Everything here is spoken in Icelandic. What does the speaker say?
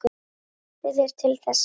Ég treysti þér til þess.